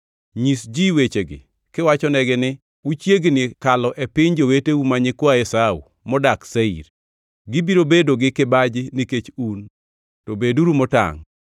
Nyis ji wechegi kiwachonegi ni, ‘Uchiegni kalo e piny joweteu ma nyikwa Esau modak Seir. Gibiro bedo gi kibaji nikech un, to beduru motangʼ.